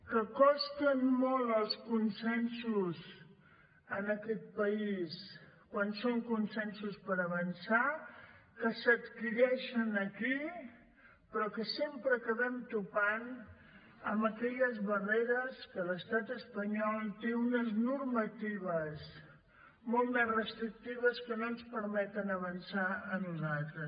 que costen molt els consensos en aquest país quan són consensos per avançar que s’adquireixen aquí però que sempre acabem topant amb aquelles barreres que l’estat espanyol té unes normatives molt més restrictives que no ens permeten avançar a nosaltres